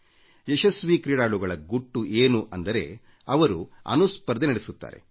ಯಶಸ್ವಿ ಕ್ರೀಡಾಳುಗಳ ಗುಟ್ಟು ಏನು ಅಂದರೆ ಅವರು ತಮ್ಮೊಳಗೇ ಸ್ಫರ್ಧೆ ನಡೆಸುತ್ತಾರೆ